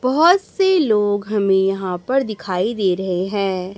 बहोत से लोग हमें यहां पर दिखाई दे रहे हैं।